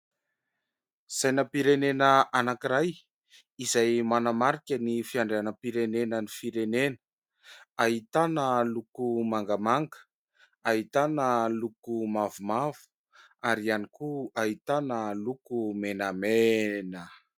Sainam-pirenena anankiray izay manamarika ny fiandrianam-pirenenan'ny firenena. Ahitana loko mangamanga, ahitana loko mavomavo, ary ihany koa ahitana loko menamena.